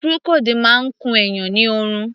Procold máa ń kun èèyàn ni oorun.